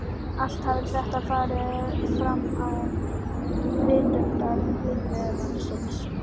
Allt hafði þetta farið fram án vitundar vinnumannsins.